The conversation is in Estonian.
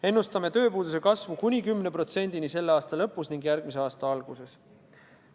Ennustame tööpuuduse kasvu kuni 10%-ni selle aasta lõpus ning järgmise aasta alguses.